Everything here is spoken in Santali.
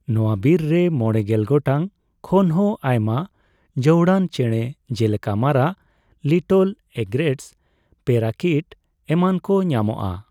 ᱱᱚᱣᱟᱹ ᱵᱤᱨ ᱨᱮ ᱢᱚᱲᱮᱜᱮᱞ ᱜᱚᱴᱟᱝ ᱠᱷᱚᱱᱦᱚᱸ ᱟᱭᱢᱟ ᱡᱟᱹᱣᱩᱲᱟᱱ ᱪᱮᱬᱮ ᱡᱮᱞᱮᱠᱟ ᱢᱟᱨᱟᱜ, ᱞᱤᱴᱚᱞ ᱮᱜᱽᱨᱮᱴᱥ, ᱯᱮᱨᱟᱠᱤᱴ ᱮᱢᱟᱱᱠᱚ ᱧᱟᱢᱚᱜᱼᱟ ᱾